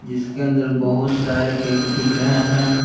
जिसके अंदर बहुत सारे केक दिख रहे हैं।